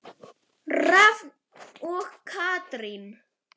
Rafn og Katrín.